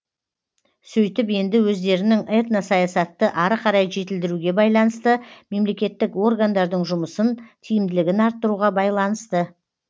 сөйтіп енді өздерінің этно саясатты ары қарай жетілдіруге байланысты мемлекеттік органдардың жұмысын тиімділігін арттыруға байланысты